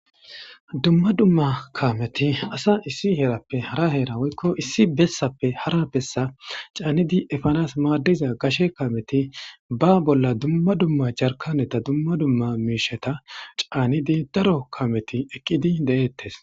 dumma dumma kameti asa issi heerappe hara heera woykko issi bessappe hara bessa caanidi efanas maaddiza gashe kameti ba bolla dumma dumma jarkaneta dumma dumma miisheta caanidi daro kameti eqqidi de7eettes